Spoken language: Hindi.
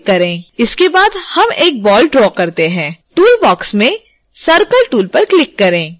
इसके बाद हम एक बॉल ड्रा करते हैं toolbox में circle tool पर क्लिक करें